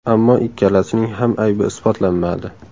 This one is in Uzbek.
Ammo ikkalasining ham aybi isbotlanmadi.